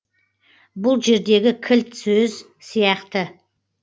бұл жердегі кілт сөз сияқты